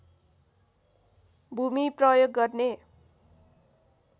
भूमि प्रयोग गर्ने